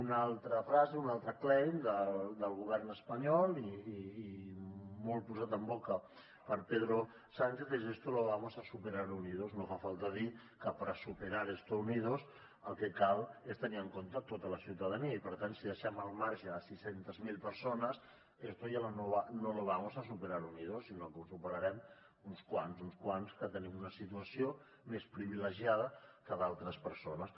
una altra frase un altre claim del govern espanyol i molt posat en boca per pedro sánchez es esto lo vamos a superar unidos no fa falta dir que per a esto unidos el que cal és tenir en compte tota la ciutadania i per tant si deixem al marge sis cents miler persones esto ya no lo vamos a superar unidos sinó que ho superarem uns quants uns quants que tenim una situació més privilegiada que d’altres persones